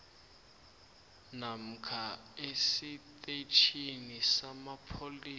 namkha esitetjhini samapholisa